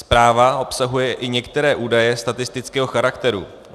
Zpráva obsahuje i některé údaje statistického charakteru.